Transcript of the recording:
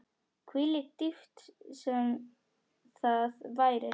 Hvílík dýpt sem það væri.